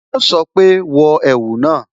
Yo sọ pé "wọ ẹ̀wù náà"